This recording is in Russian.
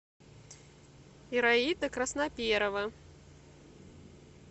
ираида красноперова